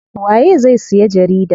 Waye zai siya jarida?